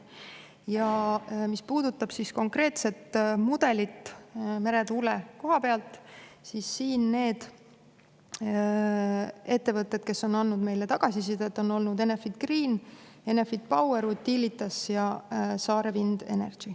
Ja mis puudutab konkreetset mudelit meretuule koha pealt, siis need ettevõtted, kes on andnud meile tagasisidet, on olnud Enefit Green, Enefit Power, Utilitas ja Saare Wind Energy.